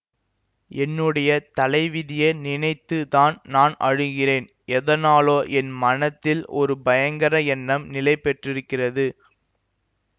என்னுடைய தலைவிதியை நினைத்து தான் நான் அழுகிறேன் எதனாலோ என் மனத்தில் ஒரு பயங்கர எண்ணம் நிலைபெற்றிருக்கிறது